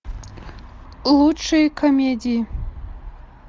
лучшие комедии